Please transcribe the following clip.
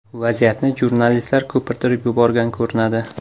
Vaziyatni jurnalistlar ko‘pirtirib yuborgan ko‘rinadi.